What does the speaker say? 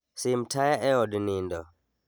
Sim taya eod nindo